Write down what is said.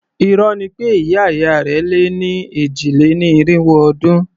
Irọ́ ni pé ìyá ìyá rẹ̀ lé ní èjì-lé-ní-irínwó ọdún.